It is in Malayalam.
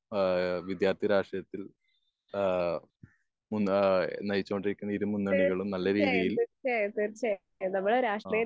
ഏഹ് വിദ്യാർത്ഥി രാഷ്ട്രീയത്തിൽ ഏഹ് ഉണ്ടായ നയിച്ചോണ്ടിരിക്കുന്ന ഇരു മുന്നണികളും നല്ല രീതിയിൽ അ